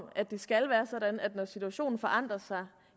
at det skal være sådan at når situationen forandrer sig